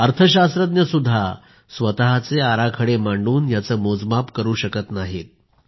अर्थशास्त्रज्ञसुद्धा स्वतःचे आराखडे मांडून यांचे मोजमाप करू शकत नाहीत